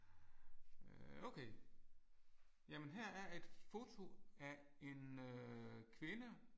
Øh okay. Jamen her er et foto af en kvinde